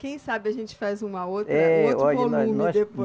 Quem sabe a gente faz uma outra. Eh. Um outro volume depois?